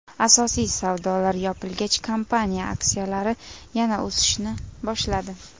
Asosiy savdolar yopilgach, kompaniya aksiyalari yana o‘sishni boshladi.